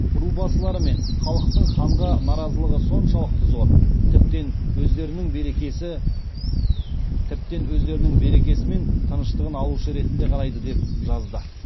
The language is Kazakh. рубасылары мен халықтың ханға наразылығы соншалықты зор тіптен өздерінің берекесі мен тыныштығын алушы ретінде қарайды деп жазды